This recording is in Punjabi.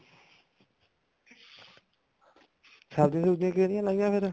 ਸਬਜੀ ਸੁਬਜ਼ੀ ਕਿਹੜੀਆਂ ਲਾਈਆਂ ਫ਼ੇਰ